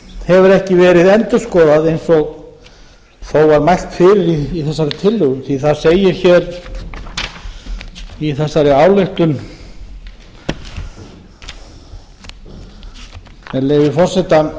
hefur ekki verið endurskoðað eins og þó var mælt fyrir í þessari tillögu það segir hér í þessari ályktun með leyfi forseta